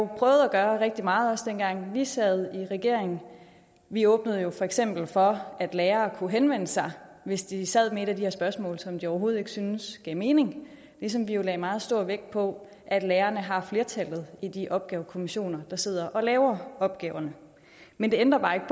prøvet at gøre rigtig meget også dengang vi sad i regering vi åbnede for eksempel for at lærere kunne henvende sig hvis de sad med et af de her spørgsmål som de overhovedet ikke syntes gav mening ligesom vi jo lagde meget stor vægt på at lærerne har flertallet i de her opgavekommissioner der sidder og laver opgaverne men det ændrer bare ikke